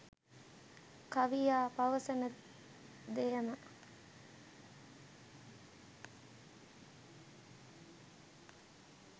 කවියා පවසන දෙයම